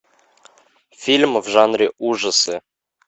фильм в жанре ужасы